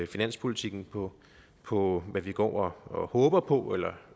finanspolitikken på på hvad vi går og håber på eller